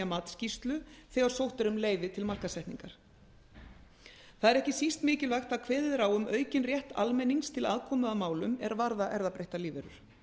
matsskýrslu þegar sótt er um leyfi til markaðssetningar það er ekki síst mikilvægt að kveðið er á um aukinn rétt almennings til aðkomu að málum er varða erfðabreyttar lífverur